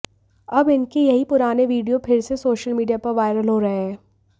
अब इनके यही पुराने वीडियो फिर से सोशल मीडिया पर वायरल हो रहे हैं